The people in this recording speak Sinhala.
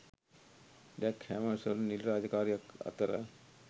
ඩැග් හැමර්ෂල් නිල රාජකාරියක් අතර